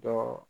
Dɔ